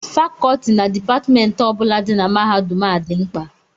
Fakọọti na Dipatmentị ọ bụla dị na mahadum a dị mkpa